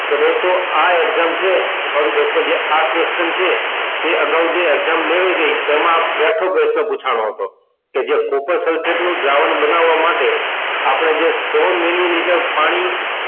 તો દોસ્તો આ exam છે sorry દોસ્તો જે આ question છે તે અગાઉ જે exam લેવાઈ ગઈ તેમાં બેઠો પ્રહ્ન પુછાનો હતો કે જે copper sulphate નું દ્રાવણ બનવવા માટે આપડે જે સો મીલીલીતર પાણી